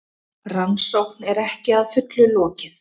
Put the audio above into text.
Rannsókn er ekki að fullu lokið